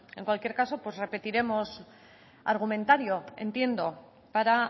en cualquier caso pues repetiremos argumentario entiendo para